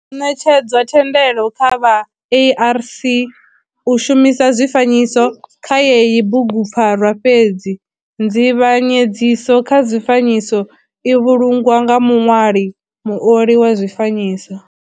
Ho netshedzwa thendelo kha vha ARC u shumisa zwifanyiso kha heyi bugupfarwa fhedzi nzivhanyedziso kha zwifanyiso i vhulungwa nga muṋwali muoli wa zwifanyiso.